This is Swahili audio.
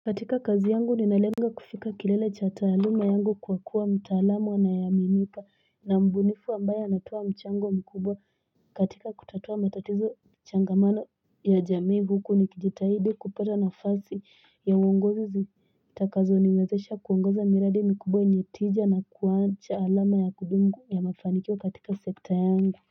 Katika kazi yangu ninalenga kufika kilele cha taaluma yangu kwa kuwa mtaalam anayeaminika na mbunifu ambaye anatoa mchango mkubwa katika kutatua matatizo Changamano ya jamii huku nikijitahidi kupata nafasi ya uongozi zitakazo niwezesha kuongoza miradi mkubwa yenye tija na kuwacha alama ya kudumu ya mafanikio katika sekta yangu.